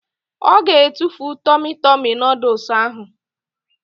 Ọ ga-etufu tọmi tọmi nọdụs ahụ